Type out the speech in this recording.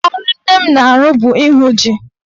Ọrụ nne m na-arụ bụ ịhụ ji.